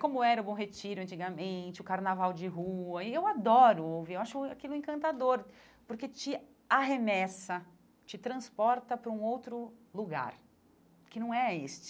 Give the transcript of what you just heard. Como era o Bom Retiro antigamente, o Carnaval de Rua, e eu adoro ouvir, acho aquilo encantador, porque te arremessa, te transporta para um outro lugar, que não é este.